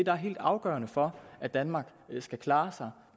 er helt afgørende for at danmark skal klare sig